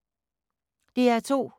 DR2